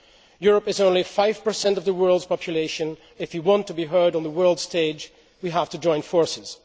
Europe is only 5 of the world's population if we want to be heard on the world stage, we have to join forces.